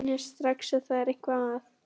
Hún skynjar strax að það er eitthvað að.